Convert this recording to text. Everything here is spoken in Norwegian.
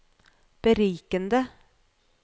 berikende